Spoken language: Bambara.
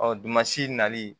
dugumasi nali